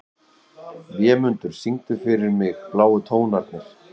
Vémundur, syngdu fyrir mig „Bláu tónarnir“.